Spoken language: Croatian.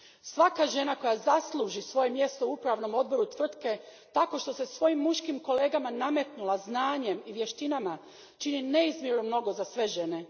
Svaka žena koja zasluži svoje mjesto u upravnom odboru tvrtke tako što se svojim muškim kolegama nametnula znanjem i vještinama čini neizmjerno mnogo za sve žene.